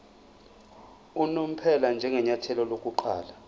unomphela njengenyathelo lokuqala